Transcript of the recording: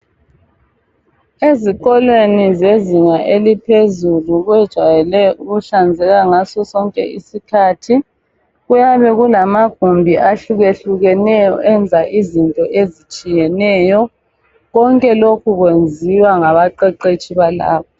Ezikolweni zezinga eliphezulu kwejayele ukuhlanzeka ngaso sonke isikhathi kuyabe kulamagumbi ahlukehlukeneyo enza izinto ezitshiyeneyo konke lokhu kwenziwa ngabaqeqetshi balapho.